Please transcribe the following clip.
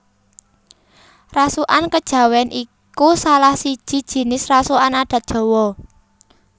Rasukan Kejawen iku salahsiji jinis rasukan adat Jawa